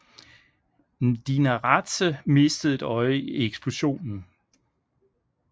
Mdinaradze mistede et øje i eksplosionen